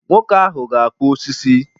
Nwoke ahụ ga-akpụ osisi.